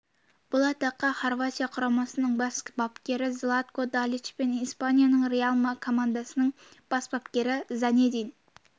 бұл атаққа хорватия құрамасының бас бапкері златко далич пен испанияның реал командасының бас бапкері зинедин